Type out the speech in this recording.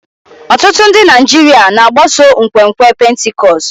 Ọtụtụ ndị Naijiria na-agbaso nkwenkwe Pentikọst.